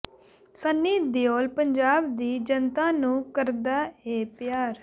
ਸੰਨੀ ਦਿਓਲ ਪੰਜਾਬ ਦੀ ਜਨਤਾ ਨੂੰ ਕਰਦਾ ਏ ਪਿਆਰ